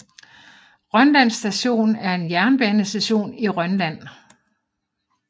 Rønland Station er en jernbanestation i Rønland